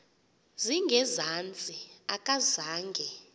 zinge zantsi akazange